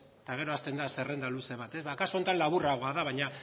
eta gero hasten da zerrenda luze bat ez bada kasu honetan laburrago da baina